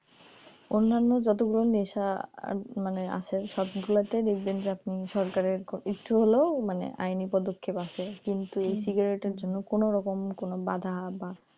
অন্যান্য যতগুলো নেশা আর মানে আছে সবগুলোতেই দেখবেন আপনি সরকারের একটু হলেও মানে আইনি পদক্ষেপ আছে কিন্তু এই cigarette এর জন্য কোন রকম বাধা বা